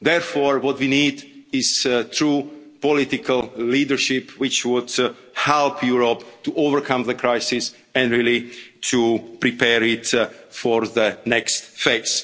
Therefore, what we need is true political leadership, which would help Europe to overcome the crisis and really to prepare it for the next